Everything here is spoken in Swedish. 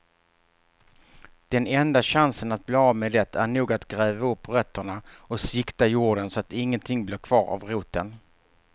Den enda chansen att bli av med det är nog att gräva upp rötterna och sikta jorden så att ingenting blir kvar av roten.